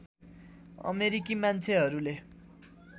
अमेरिकी मान्छेहरूले